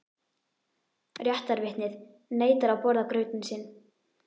Réttarvitnið neitar að borða grautinn sinn.